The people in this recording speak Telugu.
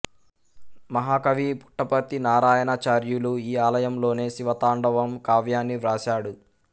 మహా కవి పుట్టపర్తి నారాయణాచార్యులు ఈ ఆలయంలోనే శివతాండవం కావ్యాన్ని వ్రాశాడు